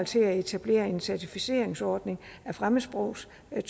til at etablere en certificeringsordning af fremmedsprogstolkning